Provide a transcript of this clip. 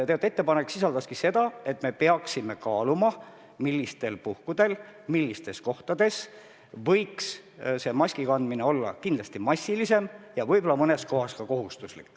Ettepanek sisaldas mõtet, et me peaksime kaaluma, millistel puhkudel ja millistes kohtades võiks maski kandmine olla massilisem ja võib-olla mõnes kohas ka kohustuslik.